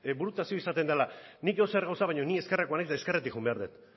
burutazioa izaten dela nik edozer gauza baina ni ezkerrekoa naiz eta ezkerretik joan behar dut